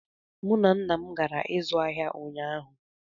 Mụ na nna m gara ịzụ ahịa ụnyaahụ